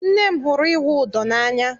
Nne m hụrụ ịwụ ụdọ n'anya.